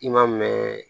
I ma mɛn